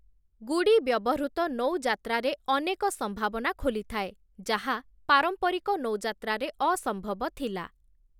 ଗୁଡ଼ି ବ୍ୟବହୃତ ନୌଯାତ୍ରାରେ ଅନେକ ସମ୍ଭାବନା ଖୋଲିଥାଏ, ଯାହା ପାରମ୍ପରିକ ନୌଯାତ୍ରାରେ ଅସମ୍ଭବ ଥିଲା ।